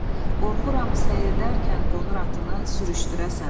qorxuram səyirdərkən qonur atını sürüşdürəsən.